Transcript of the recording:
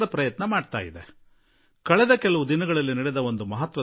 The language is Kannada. ಒಂದು ಅತಿ ದೊಡ್ಡ ಮಹತ್ವಪೂರ್ಣ ಸಂಗತಿ ಕೆಲವು ದಿನಗಳ ಹಿಂದ ನಡೆಯಿತು